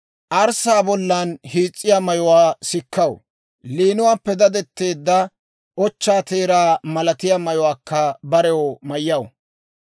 Arssaa bollan hiis's'iyaa mayuwaa sikkaw; liinuwaappe dadetteedda ochchaa teeraa malatiyaa mayuwaakka barew mayyaw.